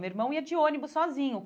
Meu irmão ia de ônibus sozinho.